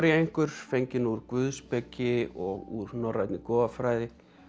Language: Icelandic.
einhver fengin úr guðspeki og úr norrænni goðafræði